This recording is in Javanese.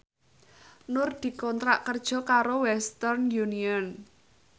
Nur dikontrak kerja karo Western Union